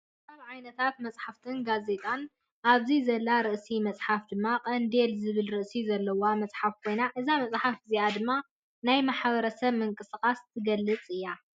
ካብ ዓይነታት መፅሓፍትን ጋዜታን ኣብዚ ዘላ ርእሲ መፅሓፍ ድማ ቀንዴል ዝብል ርእሲ ዘለዋ መፅሓፍ ኮይና እዛ መፀሓፍ እዚኣ ድማ ናይ ማሕበርስብ ምንቅስቃስ ትገልፅ እያ።